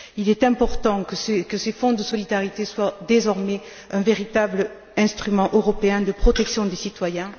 Il est important que ce Fonds de solidarité soit désormais un véritable instrument européen de protection des citoyens.